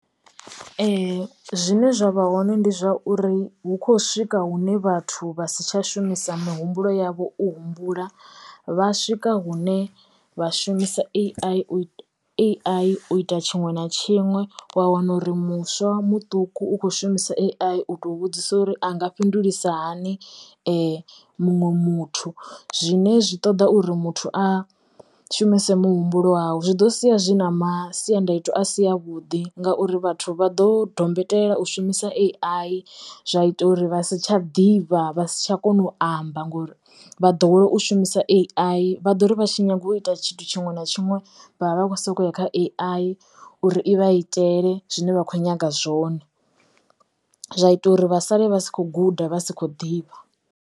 zwine zwa vha hoṋe ndi zwauri hu kho swika hune vhathu vha si tsha shumisa muhumbulo yavho u humbula vha swika hune vha shumisa A_I u A_I u ita tshinwe na tshinwe wa wana uri muswa muṱuku u kho shumisa AI to vhudzisa uri a nga fhindulisa hani muṅwe muthu zwine zwi ṱoḓa uri muthu a shumise muhumbulo wau. Zwi ḓo sia zwi na masiandaitwa a si a vhuḓi ngauri vhathu vha ḓo dombetela u shumisa A_I zwa ita uri vha si tsha ḓivha vha si tsha kona u amba ngori vha ḓowela u shumisa A_I. Vha ḓo ri vha tshi nyanga u ita tshithu tshiṅwe na tshiṅwe vha vha vha kho soko ya kha uri i vha i itele zwine vha kho nyaga zwone zwa ita uri vha sale vha si kho guda vha si kho ḓivha.